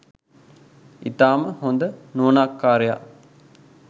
ඉතාම හොඳ නුවණක්කාරයා.